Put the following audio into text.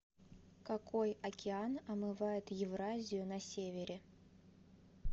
какой океан омывает евразию на севере